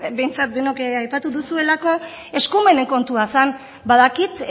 behintzat denok aipatu duzuelako eskumenen kontua zen badakit